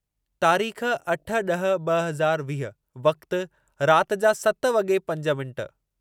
तारीख़ अठ ॾह ॿ हज़ार वीह वक़्ति रात जा सत वॻी पंज मिनिट